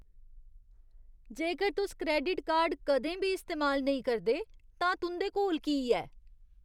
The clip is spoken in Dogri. जेकर तुस क्रैडिट कार्ड कदें बी इस्तेमाल नेईं करदे तां तुं'दे कोल की ऐ?